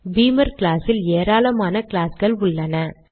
பீமர் class இல் ஏராளமான கிளாஸ்கள் உள்ளன